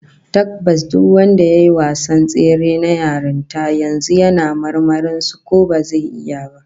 Tabbas duk wanda yayi wasan tsere na yarinta, yanzu ma yana marmarin su ko bazai iya ba